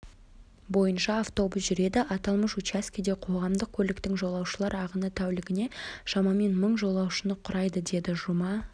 бойынша автобус жүреді аталмыш учаскеде қоғамдық көліктің жолаушылар ағыны тәулігіне шамамен мың жолаушыны құрайды дедіжұма